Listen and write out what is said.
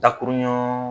Dakuruɲa